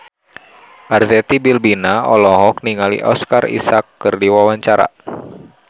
Arzetti Bilbina olohok ningali Oscar Isaac keur diwawancara